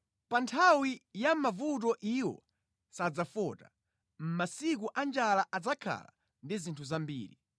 Pa nthawi ya mavuto iwo sadzafota; mʼmasiku a njala adzakhala ndi zinthu zambiri.